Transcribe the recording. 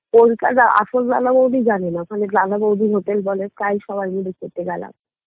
কোনটা যে আসল দাদা বৌদি জানেনা ওখানে দাদা বৌদির hotel বলে তাই সবাই মিলে খেতে গেলাম